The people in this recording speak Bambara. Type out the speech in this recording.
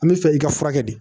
An bɛ fɛ i ka furakɛ de